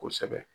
Kosɛbɛ